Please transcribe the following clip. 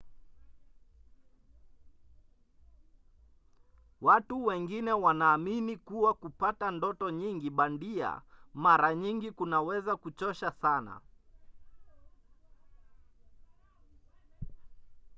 watu wengine wanaamini kuwa kupata ndoto nyingi bandia mara nyingi kunaweza kuchosha sana